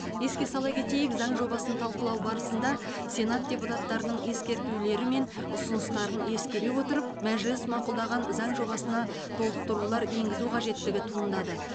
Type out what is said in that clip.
еске сала кетейік заң жобасын талқылау барысында сенат депутаттарының ескертулері мен ұсыныстарын ескере отырып мәжіліс мақұлдаған заң жобасына толықтырулар енгізу қажеттігі туындады